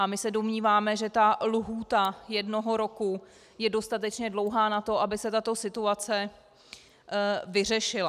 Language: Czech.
A my se domníváme, že ta lhůta jednoho roku je dostatečně dlouhá na to, aby se tato situace vyřešila.